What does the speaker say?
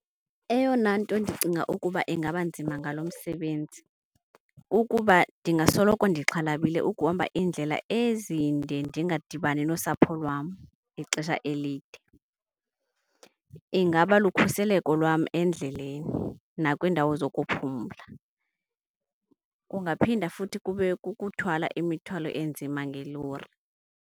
Eyona nto ndicinga ukuba ingaba nzima ngalo msebenzi kukuba ndingasoloko ndixhalabile ukuhamba iindlela ezinde ndingadibani nosapho lwam ixesha elide. Ingaba lukhuseleko lwam endleleni nakwindawo zokuphumla. Kungaphinda futhi kube kukuthwala imithwalo enzima ngelori.